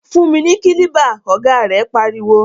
Fún mi ni kílíbà! ọ̀gá rẹ̀ pariwo.